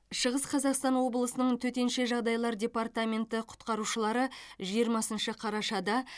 шығыс қазақстан облысының төтенше жағдайлар департаменті құтқарушылары жиырмасыншы қарашада